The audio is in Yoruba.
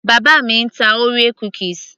bàbá mi ń ta orea cookies